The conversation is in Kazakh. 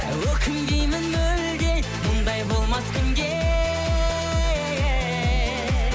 өкінбеймін мүлде мұндай болмас күнде